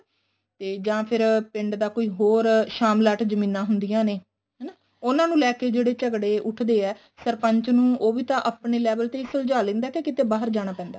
ਤੇ ਜਾਂ ਫ਼ਿਰ ਪਿੰਡ ਦਾ ਕੋਈ ਹੋਰ ਸ਼ਾਮਲਾਟ ਜਮੀਨਾਂ ਹੁੰਦੀਆਂ ਨੇ ਹਨਾ ਉਹਨਾ ਨੂੰ ਲੈਕੇ ਜਿਹੜੇ ਝਗੜੇ ਉੱਠਦੇ ਏ ਸਰਪੰਚ ਨੂੰ ਉਵੀ ਤਾਂ ਆਪਣੇ level ਤੇ ਹੀ ਸੁਝਾਅ ਲੈਂਦਾ ਹੈ ਕੇ ਕਿਤੇ ਬਾਹਰ ਜਾਣਾ ਪੈਂਦਾ ਹੈ